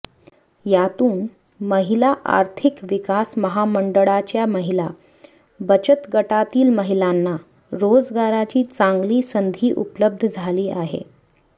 यातून महिला आर्थिक विकास महामंडळाच्या महिला बचत गटातील महिलांना रोजगाराची चांगली संधी उपलब्ध झाली आहे